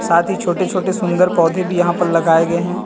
साथ ही छोटे-छोटे सुंदर पौधे भी यहां पर लगाए गए हैं।